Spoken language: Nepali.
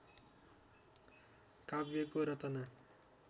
काव्यको रचना